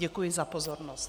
Děkuji za pozornost.